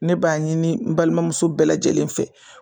Ne b'a ɲini n balimamuso bɛɛ lajɛlen fɛ